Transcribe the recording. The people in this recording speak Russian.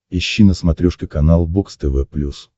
ищи на смотрешке канал бокс тв плюс